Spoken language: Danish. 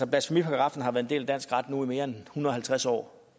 blasfemiparagraffen har været en del af dansk ret nu i mere end en hundrede og halvtreds år